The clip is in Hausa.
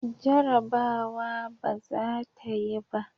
Jarabawa ba za ta yi ba.